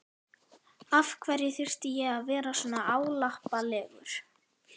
Af hverju þurfti ég að vera svona álappalegur?